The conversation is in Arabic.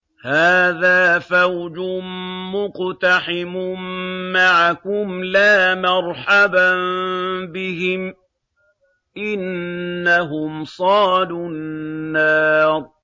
هَٰذَا فَوْجٌ مُّقْتَحِمٌ مَّعَكُمْ ۖ لَا مَرْحَبًا بِهِمْ ۚ إِنَّهُمْ صَالُو النَّارِ